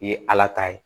I ye ala ta ye